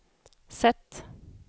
sätt